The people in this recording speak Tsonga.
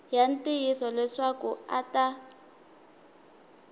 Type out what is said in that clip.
ya ntiyiso leswaku a ta